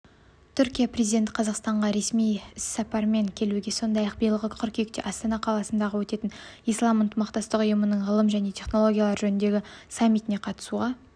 түркия президенті қазақстанға ресми сапармен келуге сондай-ақ биылғы қыркүйекте астана қаласында өтетін ислам ынтымақтастық ұйымының ғылым және технологиялар жөніндегі саммитіне қатысуға